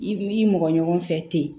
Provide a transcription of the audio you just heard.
I b'i mɔgɔ ɲɔgɔn fɛ ten